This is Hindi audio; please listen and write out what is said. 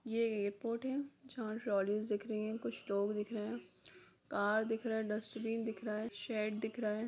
ये एयरपोर्ट है जहाँ ट्रॉलिस दिख रही है कुछ लोग दिख रहे है कार दिख रहा है डस्ट्बिन दिख रहा है शेड दिख रहा है।